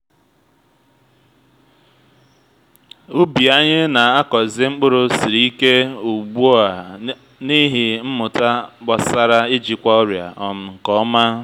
ubi anyị na-akọzi mkpụrụ siri ike ugbu a n’ihi mmụta gbasara ijikwa ọrịa um nke ọma